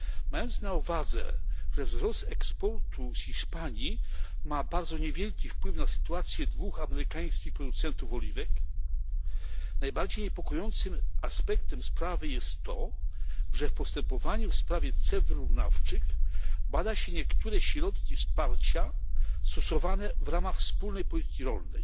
Mając na uwadze, że wzrost eksportu z Hiszpanii ma bardzo niewielki wpływ na sytuację dwóch amerykańskich producentów oliwek, najbardziej niepokojącym aspektem sprawy jest to, że w postępowaniu w sprawie ceł wyrównawczych bada się niektóre środki wsparcia stosowane w ramach wspólnej polityki rolnej,